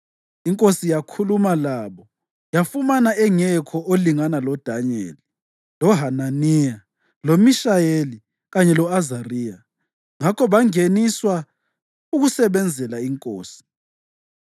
Inkosi yakhuluma labo yafumana engekho olingana loDanyeli, loHananiya, loMishayeli kanye lo-Azariya; ngakho bangeniswa ukusebenzela inkosi.